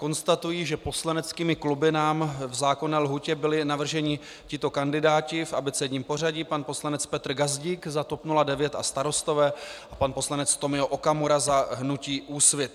Konstatuji, že poslaneckými kluby nám v zákonné lhůtě byli navrženi tito kandidáti v abecedním pořadí: pan poslanec Petr Gazdík za TOP 09 a Starostové a pan poslanec Tomio Okamura za hnutí Úsvit.